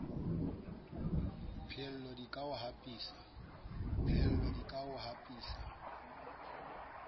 pheello di ka o hapisa